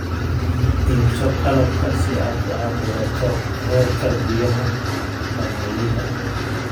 Iibso qalabka si aad u cabbirto heerka biyaha balliyada.